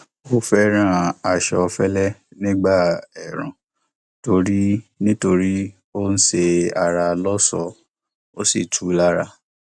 ó fẹràn aṣọ fẹlẹ nígbà ẹẹrùn nítorí ó ń ṣe ara lọṣọọ ó sì tù ú lára